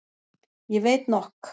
Ég veit nokk.